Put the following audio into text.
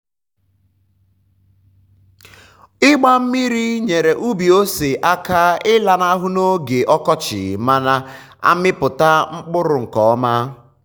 ịgba mmiri nyeere ubi ose aka ịlanahụ n'oge ọkọchị ma na-amịpụta mkpụrụ nke ọma.